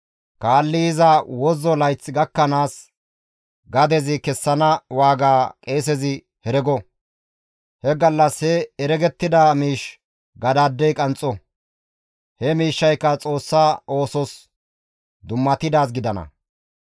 kaalli yiza wozzo layth gakkanaas gadezi kessana waaga qeesezi herego; he gallas he heregettida miish gadaadey qanxxo; he miishshayka Xoossa oosos dummatidaaz gidana.